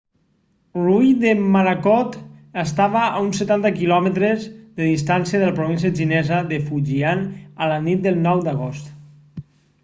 l'ull de morakot estava a uns setanta quilòmetres de distància de la província xinesa de fujian a la nit del 9 d'agost